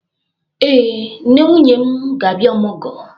Ee, nne nwunye m ga-abịa ọmụgwọ.